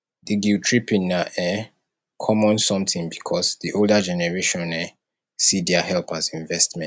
the guilt tripping na um common something because di older generation um see their help as investment